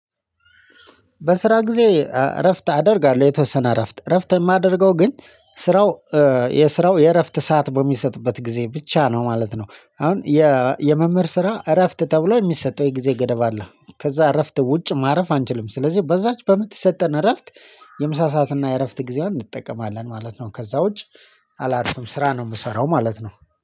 በስራ ጊዜ እረፍት አደርጋለሁ የተወሰነ እረፍት እረፍት የማደርገው ግን ስራው የስራው የእረፍት ሰዓት በሚሰጥበት ጊዜ ብቻ ነው ማለት ነው። አሁን የመምህር ስራ እረፍት ተብሎ የሚሰጠው የጊዜ ገደብ አለ። ከዛ እረፍት ውጭ ማረፍ አንችልም ስለዚህ በዛች በምትሰጠን እረፍት የምሳ ሰዓትና የእረፍት ጊዜያን እንጠቀማለን ማለት ነው። ከዛ ውጪ አላርፍም ስራ ነው የምሰራው ማለት ነው